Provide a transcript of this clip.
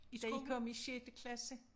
Da I kom i sjette klasse?